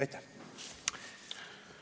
Aitäh!